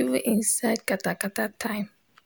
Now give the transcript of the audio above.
even inside katakata time